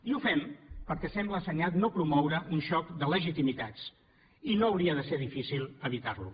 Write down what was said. i ho fem perquè sembla assenyat no promoure un xoc de legitimitats i no hauria de ser difícil evitarlo